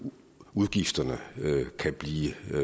udgifterne kan blive